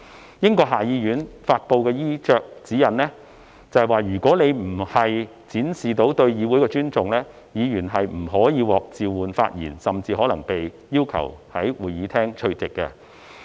根據英國下議院發布的衣着指引，如果議員的衣着未能展現對議會的尊重，議員不可獲召喚發言，甚至可能被要求從會議廳退席。